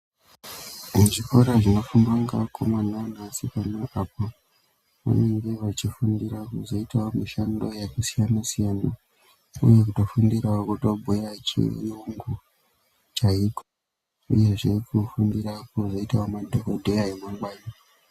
Kuzvikora zvinofundwa ngeakomana neasikana apo vanenge vachifundira kuzoitawo mishando yakasiyana siyana vanotofundirawo kutobhuya chiyungu chaiko uyezve kufundirawo kuzoitawo madhokodheya emangwani.